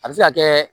A bɛ se ka kɛ